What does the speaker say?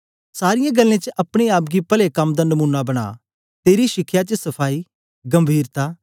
सारीयें गल्लें च अपने आप गी पले कम दा नमूना बना तेरी शिखया च सफाई गंभीरता